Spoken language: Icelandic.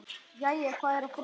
Jæja, hvað er að frétta?